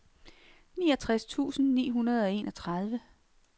niogtres tusind ni hundrede og enogtredive